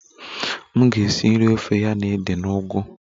M ga-esi nri ofe ya na ede na ugu